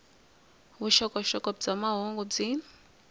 vuxokoxoko bya mahungu byi